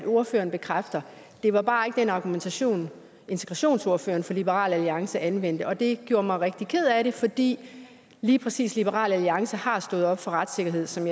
ordføreren bekræfte det var bare ikke den argumentation integrationsordføreren fra liberal alliance anvendte og det gjorde mig rigtig ked af det fordi lige præcis liberal alliance har stået op for retssikkerhed som